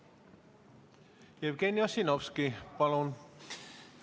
Jevgeni Ossinovski, palun!